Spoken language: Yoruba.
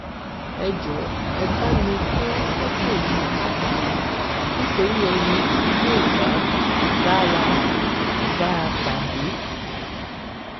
ẹ jọọ ẹ bá mi fọn fọtò yìí káàkiri nítorí ẹni tí yóò bá bá wa bá a pàdé